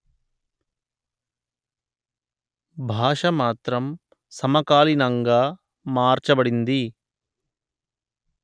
భాష మాత్రం సమకాలీనంగా మార్చబడింది